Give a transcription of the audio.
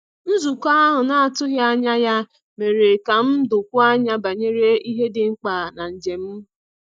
Nzukọ ahụ a na-atụghị anya ya mere ka m dokwuo anya banyere ihe dị mkpa na njem m.